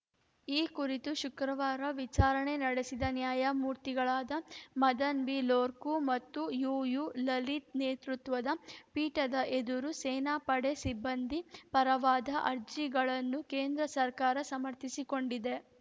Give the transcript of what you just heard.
ಈ ಕುರಿತು ಶುಕ್ರವಾರ ವಿಚಾರಣೆ ನಡೆಸಿದ ನ್ಯಾಯಮೂರ್ತಿಗಳಾದ ಮದನ್‌ ಬಿಲೋರ್ಕು ಮತ್ತು ಯುಯುಲಲಿತ್‌ ನೇತೃತ್ವದ ಪೀಠದ ಎದುರು ಸೇನಾ ಪಡೆ ಸಿಬ್ಬಂದಿ ಪರವಾದ ಅರ್ಜಿಗಳನ್ನು ಕೇಂದ್ರ ಸರ್ಕಾರ ಸಮರ್ಥಿಸಿಕೊಂಡಿದೆ